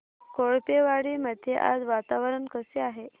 कोळपेवाडी मध्ये आज वातावरण कसे आहे